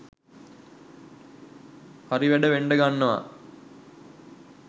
හරි වැඩ වෙන්ඩ ගන්නවා